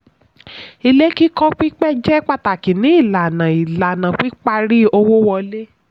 ilé kíkọ́ pípẹ́ jẹ́ pàtàkì ní ìlànà ìlànà píparí owó wọlé.